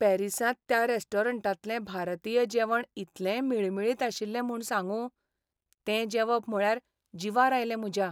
पॅरिसांत त्या रेस्टॉरंटांतलें भारतीय जेवण इतलें मिळमिळीत आशिल्लें म्हूण सांगूं, तें जेवप म्हळ्यार जिवार आयलें म्हज्या.